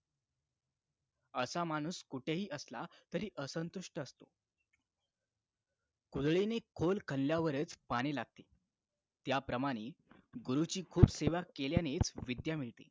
असा माणूस कुठेही असला तरी असंतुष्ट असतो कुदळीने खोल खोलल्यावरच पाणी लागते त्याप्रमाणे गुरुची खूप सेवा केल्यानेच विद्या मिळते